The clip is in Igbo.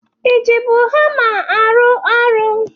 I jibu hama arụ ọrụ?